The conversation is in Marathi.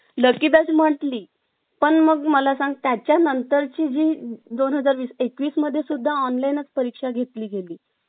luckey bach म्हटली पण मग मला सांगत त्या नंतरची जी दोनहजार एकवीस मध्ये सुद्धा online परीक्षा घेतली गेली